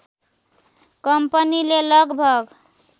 कम्पनीले लगभग